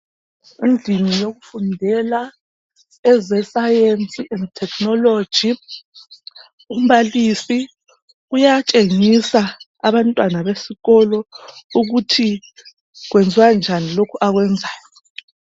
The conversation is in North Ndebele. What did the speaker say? Endlini yokufundela eze science and technology. Umbalisi uyatshengisa abantwana besikolo ukuthi kwenziwa njani lokhu akwenzayo.